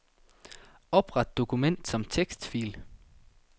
Opret dokument som tekstfil.